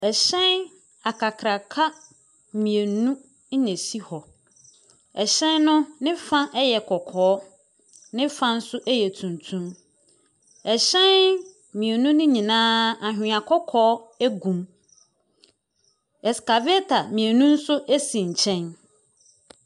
Hyɛn akrakraka mmienu na ɛsi hɔ. Hyɛn no ne fa yɛ kɔkɔɔ, ne fa nso yɛ tuntum. Hyɛn mmienu no nyinaa anwea kɔkɔɔ gu mu. Excavator mmienu nso si nkyɛn.